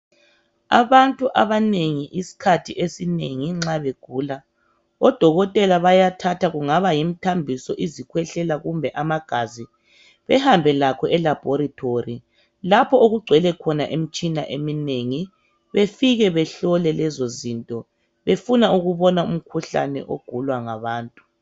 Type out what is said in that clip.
Abantu abanengi isikhathi esinengi nxa begula odokotela bayathatha kungaba yimithambiso, isikhwehlela kumbe amagazi. Bahambe lakho elabhoretori lapho okugcwele khona imitshina eminengi . Bafike behlole lezozinto befuna ukubona imikhuhlane egulwa ngabantu.